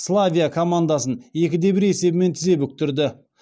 славия командасын екі де бір есебімен тізе бүктірді